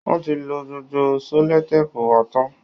Wọ́n ti lo gbogbo sẹ́lòtèèpù wa tán